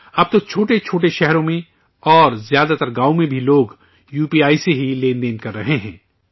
اب تو چھوٹے چھوٹے شہروں میں اور زیادہ تر گاؤوں میں بھی لوگ یوپی آئی سے ہی لین دین کر رہے ہیں